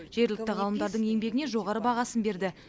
жергілікті ғалымдардың еңбегіне жоғары бағасын берді